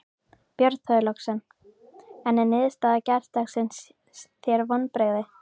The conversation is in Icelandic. Björn Þorláksson: En er niðurstaða gærdagsins þér vonbrigði?